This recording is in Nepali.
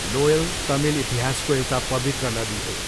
नोयल तमिल इतिहासको एउटा पवित्र नदी हो।